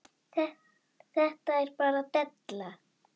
Þetta er bara della.